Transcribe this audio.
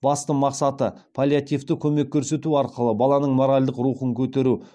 басты мақсаты паллиативтік көмек көрсету арқылы баланың моральдық рухын көтеру